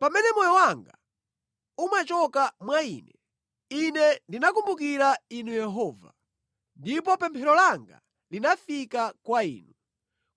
“Pamene moyo wanga umachoka mwa ine, ine ndinakumbukira Inu Yehova, ndipo pemphero langa linafika kwa inu,